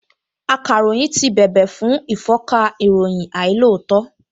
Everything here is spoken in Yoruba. Akàròyìn ti bèbè fún ìfọ́nka ìròyìn àìlóòótọ́